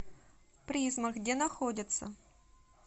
призма где находится